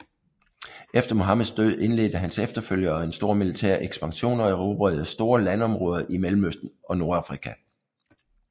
Efter Muhammeds død indledte hans efterfølgere en stor militær ekspansion og erobrede store landområder i Mellemøsten og Nordafrika